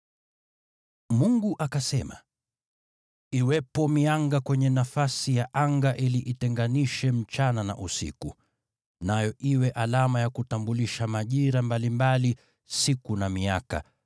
Mungu akasema, “Iwepo mianga kwenye nafasi ya anga ili itenganishe usiku na mchana, nayo iwe alama ya kutambulisha majira mbalimbali, siku na miaka,